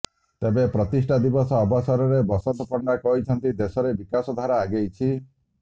ତେବେ ପ୍ରତିଷ୍ଠା ଦିବସ ଅବସରରେ ବସନ୍ତ ପଣ୍ଡା କହିଛନ୍ତି ଦେଶରେ ବିକାଶ ଧାରା ଆଗେଇଛି